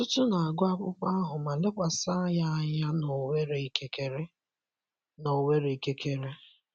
Ọtụtụ n'agụ akwụkwo ahụ ma lekwasi ya anya n'onwere ikekere. n'onwere ikekere.